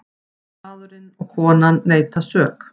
Maðurinn og konan neita sök.